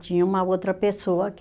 Tinha uma outra pessoa que